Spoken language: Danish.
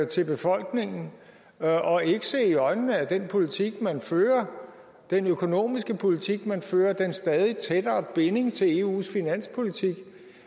til befolkningen og ikke se i øjnene at den politik man fører den økonomiske politik man fører den stadig tættere binding til eus finanspolitik